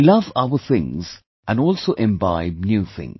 We love our things and also imbibe new things